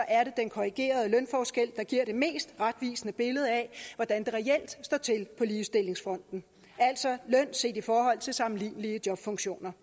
er det den korrigerede lønforskel der giver det mest retvisende billede af hvordan det reelt står til på ligestillingsfronten altså løn set i forhold til sammenlignelige jobfunktioner